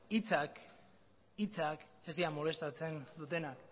hitzak ez dira molestatzen dutena